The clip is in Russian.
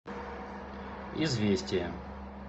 известия